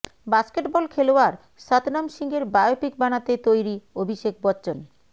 basketball খেলোয়াড় সতনাম সিংয়ের biopic বানাতে তৈরি অভিষেক বচ্চন